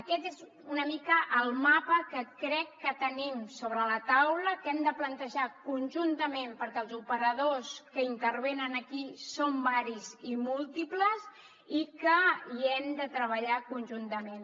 aquest és una mica el mapa que crec que tenim sobre la taula que hem de plantejar conjuntament perquè els operadors que intervenen aquí són diversos i múltiples i que hi hem de treballar conjuntament